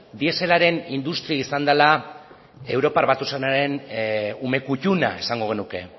dieselaren industria izan dela europar batasunaren ume kuttuna esango genuke